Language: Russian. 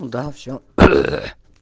да все